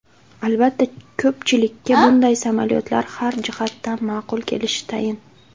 Albatta, ko‘pchilikka bunday samolyotlar har jihatdan ma’qul kelishi tayin.